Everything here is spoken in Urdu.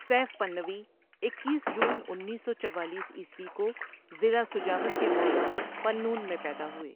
سيف پنوی اکیس جون انیس سو چوالیس عیسوی کو ضلع سجاول کے موضع ٻنون میں پیدا ہوئے۔